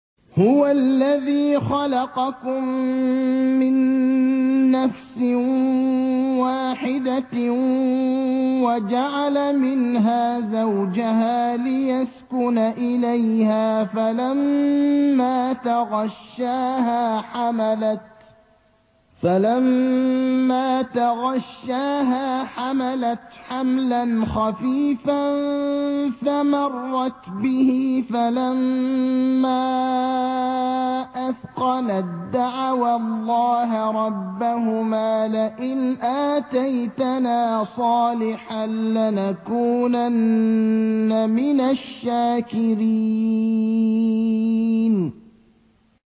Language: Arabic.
۞ هُوَ الَّذِي خَلَقَكُم مِّن نَّفْسٍ وَاحِدَةٍ وَجَعَلَ مِنْهَا زَوْجَهَا لِيَسْكُنَ إِلَيْهَا ۖ فَلَمَّا تَغَشَّاهَا حَمَلَتْ حَمْلًا خَفِيفًا فَمَرَّتْ بِهِ ۖ فَلَمَّا أَثْقَلَت دَّعَوَا اللَّهَ رَبَّهُمَا لَئِنْ آتَيْتَنَا صَالِحًا لَّنَكُونَنَّ مِنَ الشَّاكِرِينَ